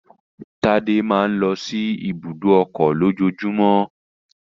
Tádé máa ń lọ sí ibùdó ọkọ̀ lójoojúmọ́